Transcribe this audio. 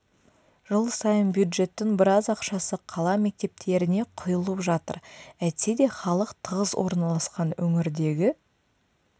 жыл сайын бюджеттің біраз ақшасы қала мектептеріне құйылып жатыр әйтсе де халық тығыз орналасқан өңірдегі